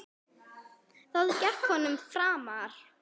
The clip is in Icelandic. Það gekk vonum framar.